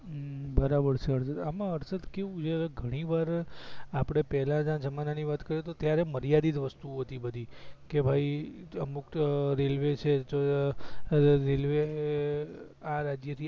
હુમમ બરાબર છે હર્ષદ આમાં હર્ષદ કેવું છે ગણી વાર આપડે પેલા ના જમાના ની વાત કરીએ તો ત્યારે મારીયાદિત વસ્તુ ઓ હતી બધી કે ભઇ અમુક રેલવે છે તો અ રેલવે આ રાજ્ય થી આ